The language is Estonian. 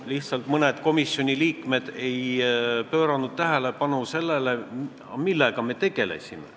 Lihtsalt mõned komisjoni liikmed ei pööranud tähelepanu sellele, millega me tegelesime.